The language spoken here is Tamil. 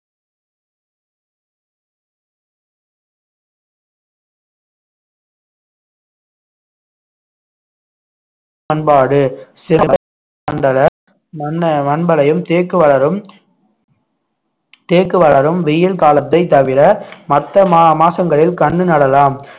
பண்பாடு தேக்கு வளரும் தேக்கு வளரும் வெயில் காலத்தைத் தவிர மற்ற மா~ மாசங்களில் கண்ணு நடலாம்